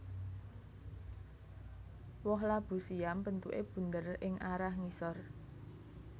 Woh labu siam bentuké bunder ing arah ngisor